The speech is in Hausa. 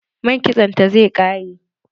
Man kitson ta zai ƙare.